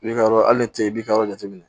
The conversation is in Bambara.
I b'i ka yɔrɔ hali ni cɛ i b'i ka yɔrɔ jateminɛ